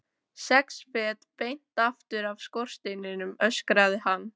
Sex fet beint aftur af skorsteininum, öskraði hann.